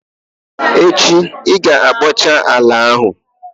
Echi i ga-ekpocha ala ahụ!